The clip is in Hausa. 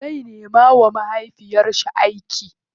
Zai nema wa mamarshi aiki.